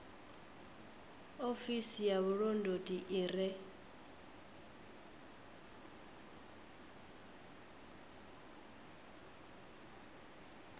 ofisi ya vhulondoti i re